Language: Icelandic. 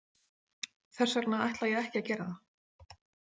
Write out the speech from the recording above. Þess vegna ætla ég ekki að gera það.